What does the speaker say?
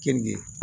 Keninge